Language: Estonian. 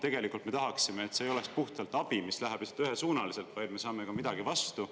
Tegelikult me tahaksime, et see ei oleks puhtalt abi, mis läheb lihtsalt ühesuunaliselt, vaid me saame ka midagi vastu.